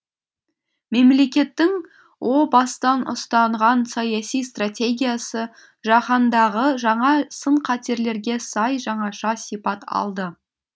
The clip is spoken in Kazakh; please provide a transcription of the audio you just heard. мемлекетің о бастан ұстанған саяси стратегиясы жаһандағы жаңа сын қатерлерге сай жаңаша сипат алды